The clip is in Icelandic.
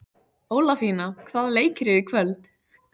Ólafína, hvaða leikir eru í kvöld?